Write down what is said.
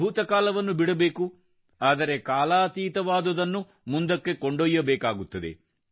ಭೂತಕಾಲವನ್ನು ಬಿಡಬೇಕು ಆದರೆ ಕಾಲಾತೀತವಾದುದನ್ನು ಮುಂದಕ್ಕೆ ಕೊಂಡೊಯ್ಯಬೇಕಾಗುತ್ತದೆ